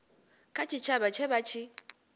kha tshitshavha tshe vha tshi